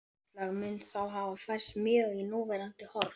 Landslag mun þá hafa færst mjög í núverandi horf.